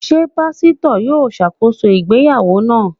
Ṣé Pásítọ̀ yó ṣàkóso ìsìn ìgbéyàwó náà?